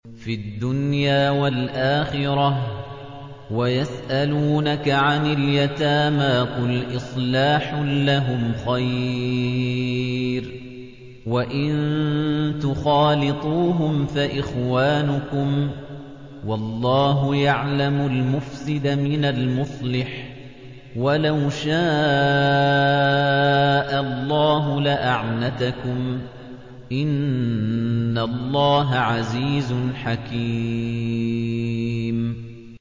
فِي الدُّنْيَا وَالْآخِرَةِ ۗ وَيَسْأَلُونَكَ عَنِ الْيَتَامَىٰ ۖ قُلْ إِصْلَاحٌ لَّهُمْ خَيْرٌ ۖ وَإِن تُخَالِطُوهُمْ فَإِخْوَانُكُمْ ۚ وَاللَّهُ يَعْلَمُ الْمُفْسِدَ مِنَ الْمُصْلِحِ ۚ وَلَوْ شَاءَ اللَّهُ لَأَعْنَتَكُمْ ۚ إِنَّ اللَّهَ عَزِيزٌ حَكِيمٌ